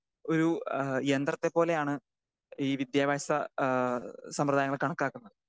Speaker 2 ഒരു ആ യന്ത്രത്തെ പോലെയാണ് ഈ വിദ്യാഭ്യാസ ആ സമ്പ്രദായങ്ങളെ കണക്കാക്കുന്നത്.